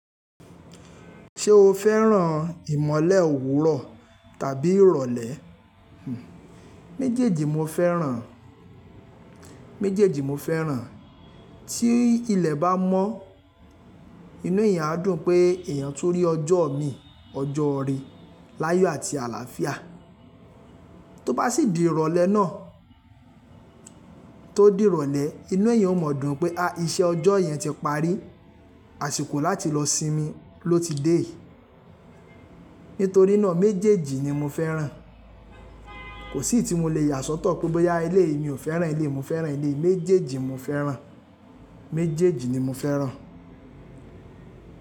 Ṣé o fẹ́ràn ìmọ̀le òwúrọ̀ tàbí ìrọ̀lẹ́? Méjèèjì mo fẹ́ràn. Méjèèjì mo fẹ́ràn. Tí ilẹ̀ bá mọ́, inú èèyàn á dùn pé èèyàn tun rí ọjọ́ mi, ọjọ́ ire láyọ àti àlàáfíà. Tó bá sì di ìrọ̀lẹ́ náà, tó di ìrọ̀lẹ́, inú èèyàn ó mọ̀ dún pé, à iṣẹ́ ọjọ́ yẹn ti parí, àsìkò láti lọ sinmi ló ti dé yii Nítorí náà méjèèjì ni mo fẹ́ràn. Kò sí eyii tí mo lè yà sọ́tọ̀ pé bóyá eleyii mi ò fẹ́ràn eleyii, mo fẹ́ràn eleyii. Méjèèjì mo fẹ́ràn. Méjèèjì ni mo fẹ́ràn.